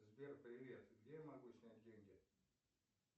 сбер привет где я могу снять деньги